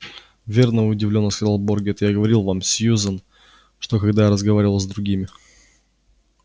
верно удивлённо сказал богерт я говорил вам сьюзен что когда я разговаривал с другими